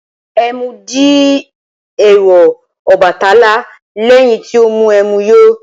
Ẹmu di èèwọ̀ Ọbàtálá lẹ́yìn tí ó mu ẹmu yó.